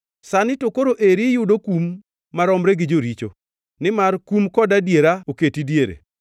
Sani to koro eri iyudo kum maromre gi joricho; nimar kum kod adiera oketi diere.